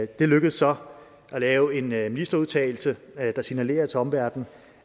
det lykkedes så at lave en ministerudtalelse der signalerer til omverdenen